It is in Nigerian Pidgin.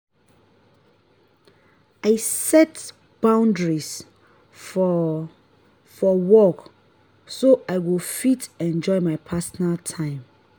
i set boundaries for for work so i go fit enjoy my personal time.